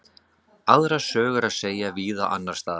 Aðra sögu er að segja víða annars staðar.